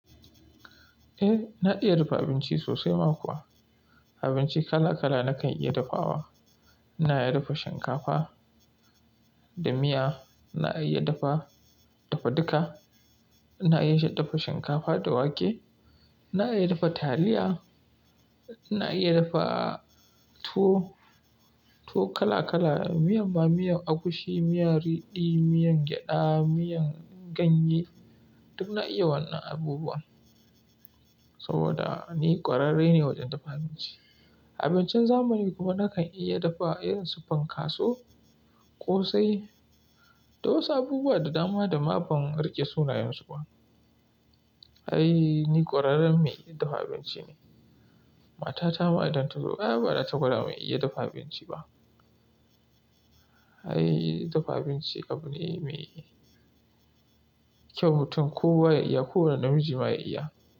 Eh, na iya dafa abinci sosai ma kuwa. Abinci kala kala na kan iya dafawa. Na iya dafa shinkafa da miya, na iya dafa, dafa duka. Na iya dafa shinkafa da wake, na iya dafa taliya, na iya dafa tuwo, tuwo kala=kala, miyan ma miya agushi, miyar riɗi, miyan gyaɗa, miyan ganye, duk na iya wannan abubuwan. Saboda ni ƙwararre ne wajen dafa abinci. Abincin zamani kuma na kan iya dafa irin su fan finkaso, ƙosai da wasu abubuwa da dama da ma ban riƙe sunayensu ba. Ai ni ƙwararren mai iya dafa abinci ne. Matata ma idan ta zo, ai ba za ta gwada mai iya dafa abinci ba. Ai dafa abinci abu ne me kyau mutum ko wa ya iya, ko wani namiji ma ya iya.